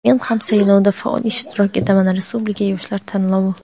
"Men ham saylovda faol ishtirok etaman" Respublika yoshlar tanlovi.